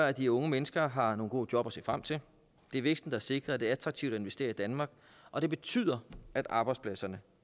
at de unge mennesker har nogle gode job at se frem til det er væksten der sikrer at det er attraktivt at investere i danmark og det betyder at arbejdspladserne